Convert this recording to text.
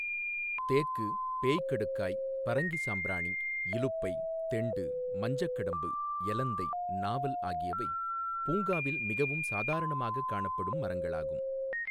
தேக்கு, பேய்க்கடுக்காய், பறங்கி சாம்ராணி, இலுப்பை, தெண்டு, மஞ்சக்கடம்பு, எலந்தை, நாவல் ஆகியவை பூங்காவில் மிகவும் சாதாரணமாகக் காணப்படும் மரங்களாகும்.